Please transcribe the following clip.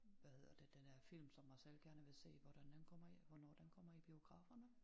Hvad hedder det den der film som Marcel gerne vil se hvordan den kommer i hvornår den kommer i biograferne?